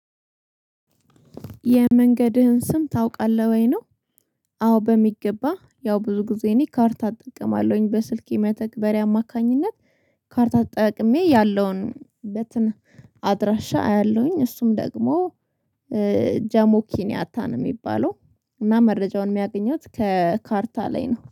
የመንገድህን ስም ታውቃለህ ወይ ነው? አዎ በሚገባ ያው ብዙ ጊዜ እኔ ካርታ አጠቅማለሁኝ በስልኬ መተግበሪያ አማካኝነት ካርታ ተጠቅሜ ያለውን በትን አድራሻ አያለሁኝ እሱም ደግሞ ጃሞኪኒያታ ነው የሚባለው። እና መረጃውን የሚያገኟት ከካርታ ላይ ነው